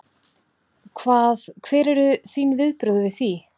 Hvað, hver eru þín viðbrögð við því?